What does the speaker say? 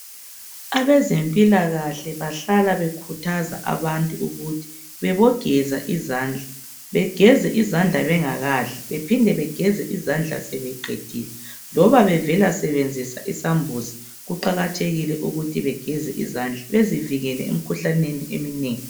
Abezempilakahle bahlala bekhuthaza abantu ukuthi bebogeza izandla begeze izandla bengakadli bephinde begeze izandla sebeqedile noma bevela sebenzisa isambuzi kuqakathekile ukuthi begeze izandla bezivikele emkhuhlaneni eminengi.